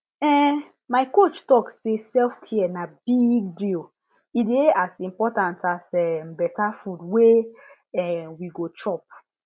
ehn my coach talk say selfcare na big deal e dey as important as um better food wey um we go chop